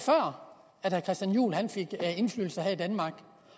at der christian juhl fik indflydelse her i danmark